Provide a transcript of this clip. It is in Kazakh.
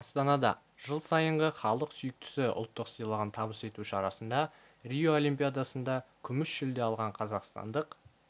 астанада жыл сайынғы халық сүйіктісі ұлттық сыйлығын табыс ету шарасында рио олимпиадасында күміс жүлде алған қазақстандық